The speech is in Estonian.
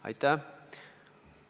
Aitäh!